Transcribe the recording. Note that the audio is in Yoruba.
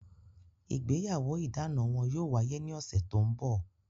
Ìgbéyàwó idana wọn yóò wáyé ní ọ̀sẹ̀ tó ń bọ̀